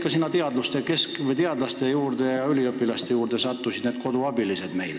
Ja kuidas need koduabilised sinna teadlaste ja üliõpilaste kõrvale sattusid?